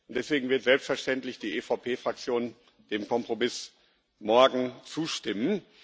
Deswegen wird selbstverständlich die EVP Fraktion dem Kompromiss morgen zustimmen.